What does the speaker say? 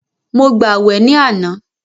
Mo gbàwè ní àná.